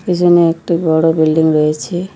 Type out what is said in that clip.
পিছনে একটি বড় বিল্ডিং রয়েছে।